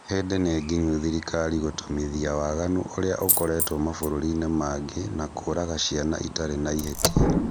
Hĩndĩ nĩnginyu thirikari gũtomithia waganu ũrĩa ũrekwo mabũrũri mangĩ na kũraga ciana itarĩ na ihĩtia